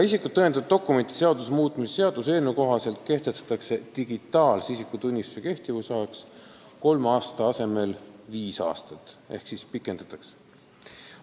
Isikut tõendavate dokumentide seaduse muutmise seaduse eelnõu kohaselt kehtestatakse digitaalse isikutunnistuse kehtivusajaks kolme aasta asemel viis aastat ehk kehtivusaega pikendatakse.